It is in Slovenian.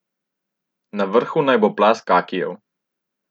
Na vrhu naj bo plast kakijev.